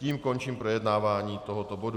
Tím končím projednávání tohoto bodu.